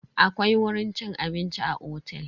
Akwai wurin cin abinci a otel.